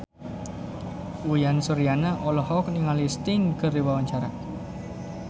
Uyan Suryana olohok ningali Sting keur diwawancara